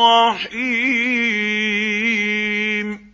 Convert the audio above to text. رَّحِيمٌ